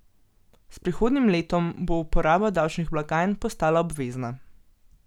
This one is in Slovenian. S prihodnjim letom bo uporaba davčnih blagajn postala obvezna.